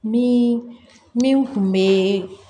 Min min tun bɛ